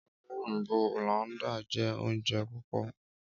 Ọra oyinbo Hollanda jẹ ounjẹ pupọ.